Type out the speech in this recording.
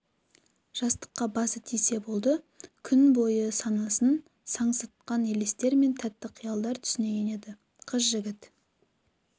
жастыққа басы тисе болды күн бойы санасын сансыратқан елестер мен тәтті қиялдар түсіне енеді қыз жігіт